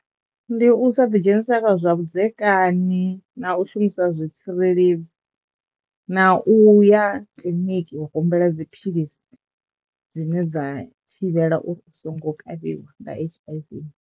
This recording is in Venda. Ndi u sa ḓi dzhenisa kha zwa vhudzekani na u shumisa zwi tsireledzi na u ya kiḽiniki u humbela dziphilisi dzine dza thivhevhela uri u songo kavhiwa nga H_I_V.